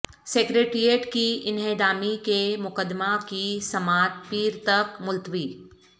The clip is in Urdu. سکریٹریٹ کی انہدامی کے مقدمہ کی سماعت پیر تک ملتوی